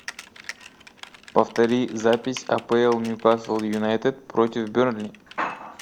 повтори запись апл ньюкасл юнайтед против бернли